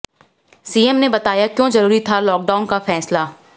CM ने बताया क्यों जरूरी था लॉकडाउन का फैसला